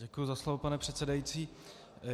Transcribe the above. Děkuji za slovo, pane předsedající.